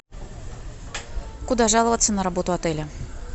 куда жаловаться на работу отеля